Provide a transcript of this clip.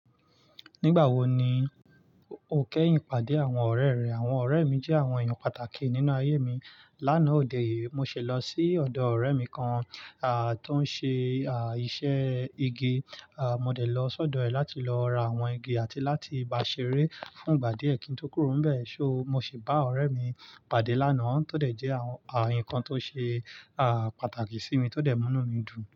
Nígbà wo ni o kẹ́yìn pàdé àwọn ọ̀rẹ́ rẹ? Àwọn ọ̀rẹ́ mi jẹ́ àwọn èèyàn pàtàkì nínú ayé mi. Lánàá ọdẹ yìí, mo ṣe lọ sí ọ̀dọ̀ ọ̀rẹ́ mi kan, à, tó ń ṣe, à, iṣẹ́ igi. À, mo dẹ̀ lọ sọ́dọ̀ ẹ̀ láti lọ ra àwọn igi àti láti ba ṣeré fún ìgbà díẹ̀ kí n tó kúrò níbẹ̀. So mo sì bá ọ̀rẹ́ mi pàdé lánàá, tọ dẹ̀ jẹ́ àwọn, àwọn nǹkan tó ṣe, à, pàtàkì sí mi tó dẹ̀ mú inú mi dùn.